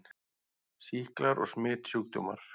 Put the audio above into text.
SÝKLAR OG SMITSJÚKDÓMAR